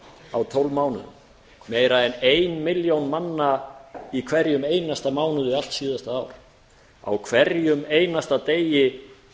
á tólf mánuðum meira en ein milljón manna í hverjum einasta mánuði allt síðasta ár á hverjum einasta degi